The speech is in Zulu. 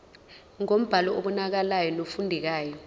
ngombhalo obonakalayo nofundekayo